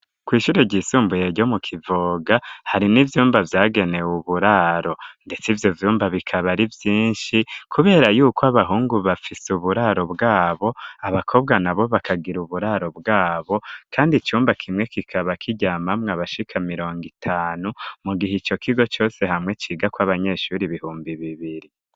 Kw'ishure ryisumbuye ryo mu kivoga hari n'ivyumba vyagenewe uburaro ndetse ivyo vyumba bikaba ari vyinshi, kubera yuko abahungu bafise uburaro bwabo abakobwa na bo bakagira uburaro bwabo kandi icumba kimwe kikaba kiryamamwo abashika mirongo itanu mu gihe ico kigo cose hamwe ciga kw'abanyeshure ibihumbi bibiri.